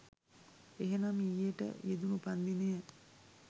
එහෙනම් ඊයේට යෙදුනු උපන්දිනය